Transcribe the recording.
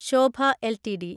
Shobha LTD